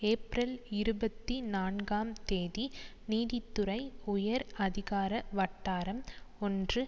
April இருபத்தி நான்காம் தேதி நீதித்துறை உயர் அதிகார வட்டாரம் ஒன்று